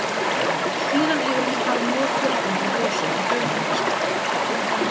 Síðan hefur henni farið mjög fjölgandi í húsum á höfuðborgarsvæðinu.